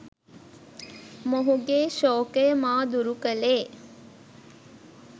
මොහුගේ ශෝකය මා දුරු කළේ